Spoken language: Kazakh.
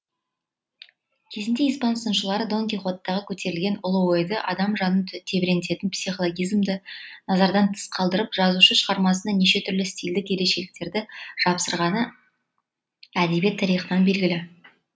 кезінде испан сыншылары дон кихоттағы көтерілген ұлы ойды адам жанын тебірентетін психолгизмді назардан тыс қалдырып жазушы шығармасына неше түрлі стильдік ерекшеліктерді жапсырғаны әдебиет тарихынан белгілі